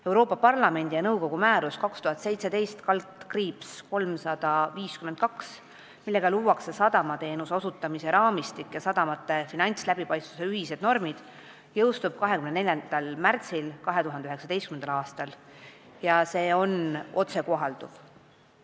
Euroopa Parlamendi ja nõukogu määrus 2017/352, millega luuakse sadamateenuse osutamise raamistik ja sadamate finantsläbipaistvuse ühised normid, jõustub 24. märtsil 2019. aastal ja see on otsekohalduv.